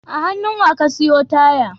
A hannu Wa ka siyo taya?